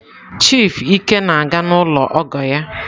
Chief ike na-aga n'ụlọ ọgọ ya.